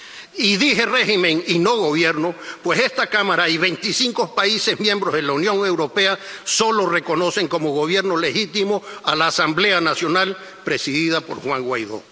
Y dije régimen y no Gobierno, pues esta Cámara y veinticinco países miembros de la Unión Europea solo reconocen como Gobierno legítimo a la Asamblea Nacional, presidida por Juan Guaidó.